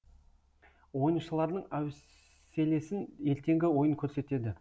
ойыншылардың әуселесін ертеңгі ойын көрсетеді